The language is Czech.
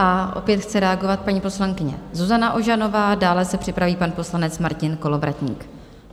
A opět chce reagovat paní poslankyně Zuzana Ožanová, dále se připraví pan poslanec Martin Kolovratník.